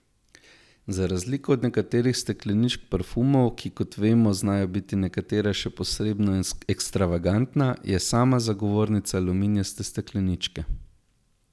Za razliko od nekaterih stekleničk parfumov, ki kot vemo, znajo biti nekatera še posebno ekstravagantna, je sama zagovornica aluminijaste stekleničke.